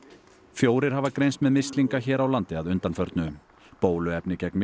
fjórir hafa greinst með mislinga hér á landi að undanförnu bóluefni gegn